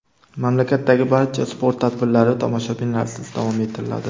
Mamlakatdagi barcha sport tadbirlari tomoshabinlarsiz davom ettiriladi.